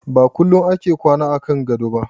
Ba kullum ake kwana a kan gado ba.